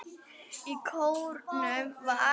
Í kórnum var